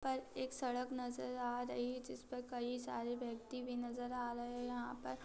यहां पर एक सड़क नजर आ रही है जिस पर कई सारे व्यक्ति भी नजर आ रहे हैं यहाँ पर --